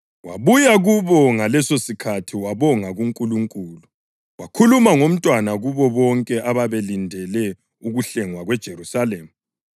Wabuya kubo ngalesosikhathi wabonga kuNkulunkulu, wakhuluma ngomntwana kubo bonke ababelindele ukuhlengwa kweJerusalema.